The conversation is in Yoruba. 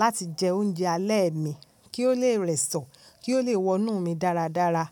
láti jẹ oúnjẹ alẹ́ mi kí ó lè rẹ̀sọ̀, kí ó lè wonú mi dáradára.